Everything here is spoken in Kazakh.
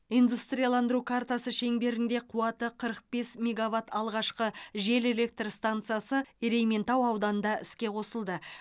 индустрияландыру картасы шеңберінде қуаты қырық бес мегаватт алғашқы жел электр стансасы ерейментау ауданында іске қосылды